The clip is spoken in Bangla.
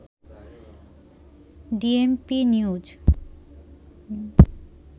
DMP news